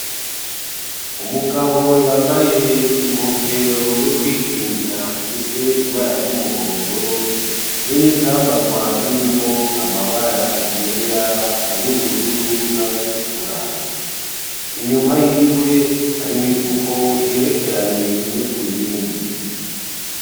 Umugabo yambaye inkofero yo kwikingira ifise ibara ryumuhondo, be n'ivyambagwa birimwo amabara yera, ay'ubururu, n'ayatukura. Inyuma yiwe hari imifuko igerekeranye imwe kuyindi.